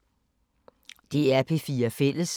DR P4 Fælles